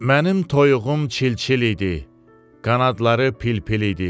Mənim toyuğum çil-çil idi, qanadları pil-pil idi.